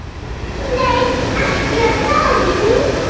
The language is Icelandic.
Nei, ekki er það nú.